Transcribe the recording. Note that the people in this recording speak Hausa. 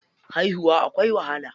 Haihuwa akwai wahala.